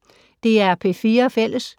DR P4 Fælles